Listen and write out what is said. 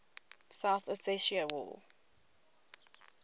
south ossetia war